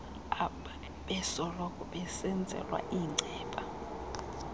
abebesoloko besenzelwa iinceba